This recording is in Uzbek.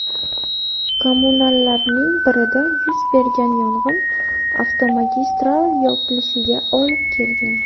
Kommunalarning birida yuz bergan yong‘in avtomagistral yopilishiga olib kelgan.